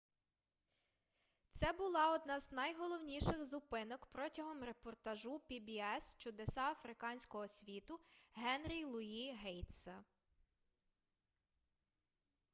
це була одна з найголовніших зупинок протягом репортажу pbs чудеса африканського світу генрі луї гейтса